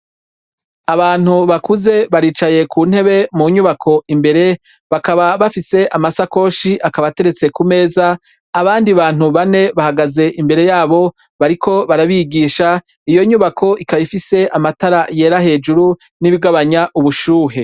Abantu bakuze bari ku ntebe mu nyubako imbere bakaba bafise amasakoshi akaba ateretse ku meza abandi Bantu bane bahagaze imbere yabo bariko barabigisha iyo nyubako ikaba ifise amatara yera hejuru nibigabanya ubushuhe.